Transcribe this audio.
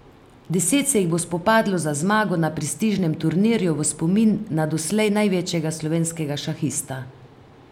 Deset se jih bo spopadlo za zmago na prestižnem turnirju v spomin na doslej največjega slovenskega šahista.